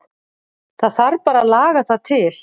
Það þarf bara að laga það til.